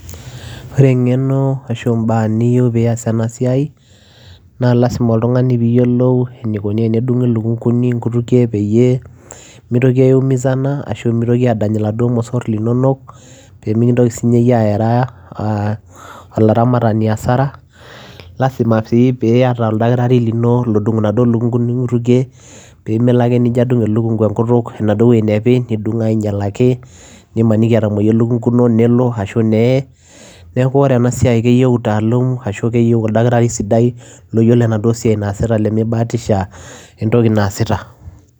Ore ibaa niyieu peyiee iyas ena siai naa lazima peyiee iyolou inikonii tenedungii ilukunguni inkutukie peyiee mitoki aiumizana ashua adany irmosor peyiee mitokii ayaa asahara nitudung aitobirakii peyiee minyal neeku oree ena siai keyieu utalam keyieu oldakitari loyieloo entokii naasita